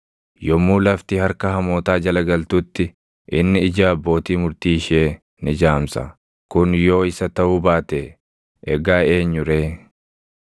Yommuu lafti harka hamootaa jala galtutti, inni ija abbootii murtii ishee ni jaamsa; kun yoo isa taʼuu baate, egaa eenyu ree?